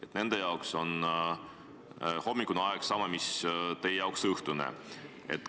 Nende inimeste jaoks on hommikune aeg sama, mis teie jaoks on õhtune aeg.